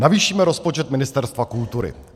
Navýšíme rozpočet Ministerstva kultury.